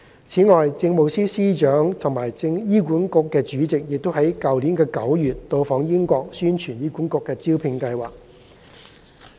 此外，政務司司長及醫管局主席於去年9月到訪英國宣傳醫管局的招聘計劃。